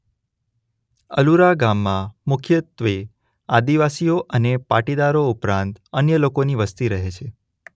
અલુરા ગામમાં મુખ્યત્વે આદિવાસીઓ અને પાટીદારો ઉપરાંત અન્ય લોકોની વસ્તી રહે છે.